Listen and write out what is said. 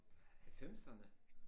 Halvfemserne